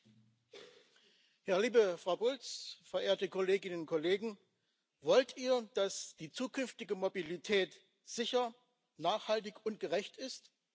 Herr Präsident, liebe Frau Bulc, verehrte Kolleginnen und Kollegen! Wollt ihr, dass die zukünftige Mobilität sicher, nachhaltig und gerecht ist?